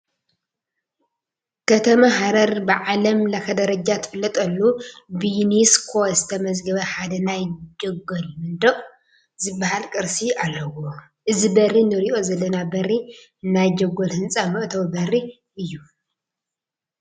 ከተማ ሃረር ብዓለም ለኸ ደረጃ ትፍለጠሉ ብዩኔስኮ ዝተመዝገበ ሓደ ናይ ጀጎል መንደቕ ዝበሃል ቅርሲ ኣለዎ፡፡ እዚ በሪ ንሪኦ ዘለና በሪ ናይ ጀጎል ህንፃ መእተዊ በሪ እዩ፡፡